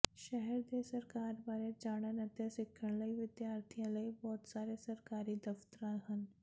ਸ਼ਹਿਰ ਦੇ ਸਰਕਾਰ ਬਾਰੇ ਜਾਣਨ ਅਤੇ ਸਿੱਖਣ ਲਈ ਵਿਦਿਆਰਥੀਆਂ ਲਈ ਬਹੁਤ ਸਾਰੇ ਸਰਕਾਰੀ ਦਫਤਰਾਂ ਹਨ